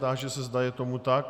Táži se, zda je tomu tak.